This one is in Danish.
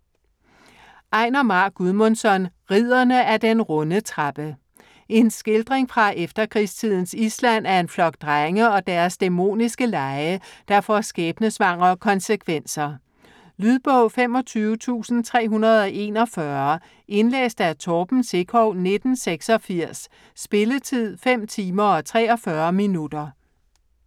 Einar Már Guðmundsson: Ridderne af den runde trappe En skildring fra efterkrigstidens Island af en flok drenge og deres dæmoniske lege, der får skæbnesvangre konsekvenser. Lydbog 25341 Indlæst af Torben Sekov, 1986. Spilletid: 5 timer, 43 minutter.